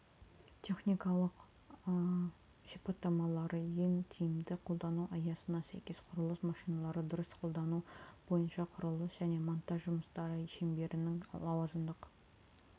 техникалық сипаттамалары ен тиімді қолдану аясына сәйкес құрылыс машиналарын дұрыс қолдану бойынша құрылыс және монтаж жұмыстары шеберінің лауазымдық